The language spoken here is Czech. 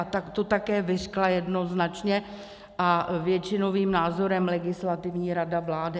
A tak to také vyřkla jednoznačně a většinovým názorem Legislativní rada vlády.